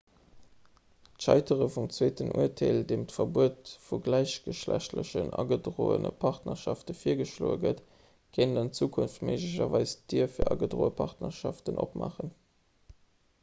d'scheitere vum zweeten urteel an deem d'verbuet vu gläichgeschlechtlechen agedroene partnerschafte virgeschloe gëtt kéint an zukunft méiglecherweis d'dier fir agedroe partnerschaften opmaachen